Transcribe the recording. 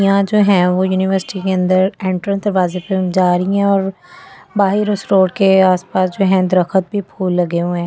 यहां जो हैं वो यूनिवर्सिटी के अंदर एंट्रेंस दरवाजे पे जा रही हैं और बाहर उस स्टोर के आसपास जो हैं दरखत भी फूल लगे हुए हैं।